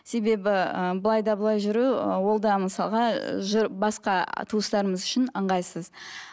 себебі ыыы былай да былай жүру ол да мысалға басқа туыстарымыз үшін ыңғайсыз